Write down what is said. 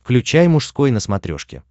включай мужской на смотрешке